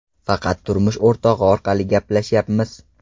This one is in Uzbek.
Faqat turmush o‘rtog‘i orqali gaplashyapmiz.